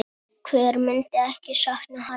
Hver myndi ekki sakna hans?